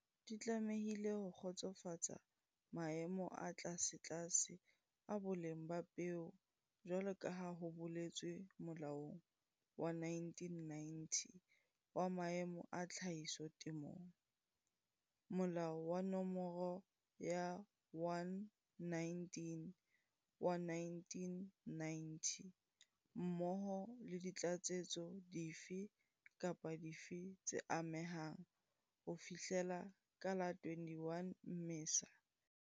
Nawa tsa hao tsa soya di tlamehile ho kgotsofatsa maemo a tlasetlase a boleng ba peo jwalo ka ha ho boletswe Molaong wa 1990 wa Maemo a Tlhahiso Temong Molao wa Nomoro ya 119 wa 1990 mmoho le ditlatsetso dife kapa dife tse amehang ho fihlela ka la 21 Mmesa 2017.